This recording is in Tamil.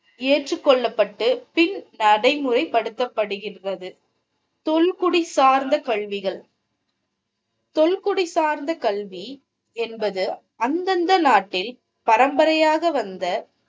ஏற்றுக்கொள்ளப்பட்டு பின் நடைமுறை படுத்தப்படுகிறது. தொல்குடி சார்ந்த கேள்விகள் தொல்குடி சார்ந்த கல்வி என்பது அந்தந்த நாட்டில் பரம்பரையாக வந்த